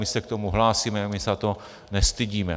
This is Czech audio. My se k tomu hlásíme, my se za to nestydíme.